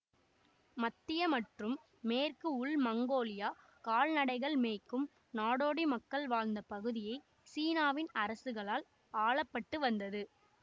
மத்திய மற்றும் மேற்கு உள் மங்கோலியா கால்நடைகள் மேய்க்கும் நாடோடி மக்கள் வாழ்ந்த பகுதியாக சீனாவின் அரசுகளால் ஆளப்பட்டு வந்தது